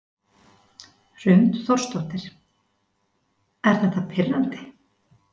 Hrund Þórsdóttir: Er þetta pirrandi?